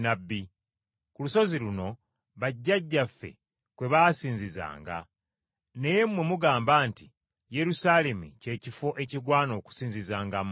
Ku lusozi luno bajjajjaffe kwe baasinzizanga. Naye mmwe mugamba nti, Yerusaalemi kye kifo ekigwana okusinzizangamu.”